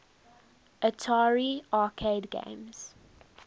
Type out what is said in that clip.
atari arcade games